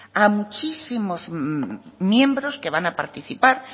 a muchísimos miembros que van a participar